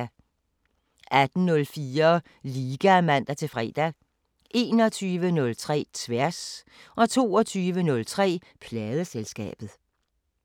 18:04: Liga (man-fre) 21:03: Tværs 22:03: Pladeselskabet